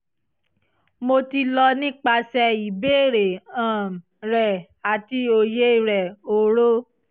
mo ti lọ nipasẹ ibeere um rẹ ati oye rẹ oro